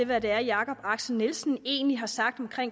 hvad det er jacob axel nielsen egentlig har sagt om